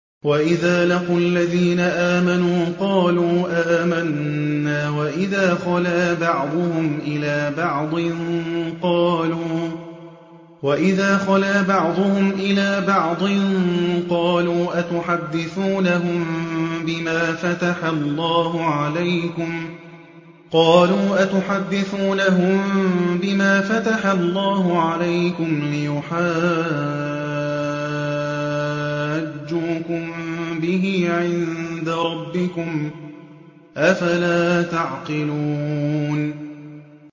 وَإِذَا لَقُوا الَّذِينَ آمَنُوا قَالُوا آمَنَّا وَإِذَا خَلَا بَعْضُهُمْ إِلَىٰ بَعْضٍ قَالُوا أَتُحَدِّثُونَهُم بِمَا فَتَحَ اللَّهُ عَلَيْكُمْ لِيُحَاجُّوكُم بِهِ عِندَ رَبِّكُمْ ۚ أَفَلَا تَعْقِلُونَ